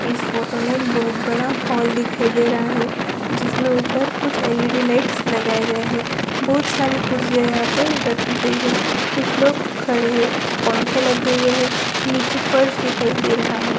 इस फोटो में एक बहुत बड़ा हॉल दिखाई दे रहा है जिसमें ऊपर कुछ एल.इ.डी. लाइट्स लगाई गई है बहुत सारी कुर्सियाँ यहाँ पर रखी गई हैं कुछ लोग खड़े हैं पंख लगे हैं और नीचे फ़र्श दिखाई दे रहा है।